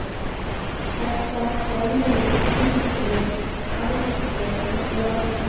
Þessar gömlu uglur, álftir, nornir?